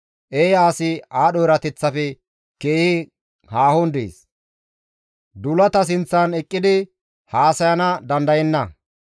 Eeya asi aadho erateththafe keehi haahon dees; duulata sinththan eqqidi haasayana dandayenna.